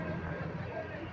Geriyə, geriyə.